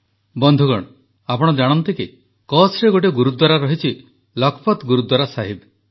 ବନ୍ଧୁଗଣ ଆପଣ ଜାଣନ୍ତି କି କଚ୍ଛରେ ଗୋଟିଏ ଗୁରୁଦ୍ୱାରା ରହିଛି ଲଖପତ୍ ଗୁରୁଦ୍ୱାରା ସାହିବ